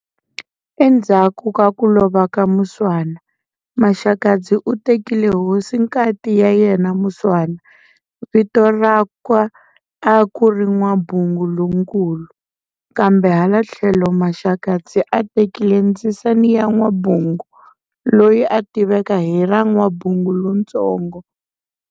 Endzhaku ka ko lova ka Muswana, Maxakadzi u tekile hosinkati ya yena Muswana vito rakwa a kuri N'wabungu lonkulu, kambe hala thlelo Maxakadzi a tekile ndzisana ya N'wabungu loyi a tiveka hi ra N'wabungu lontsongo.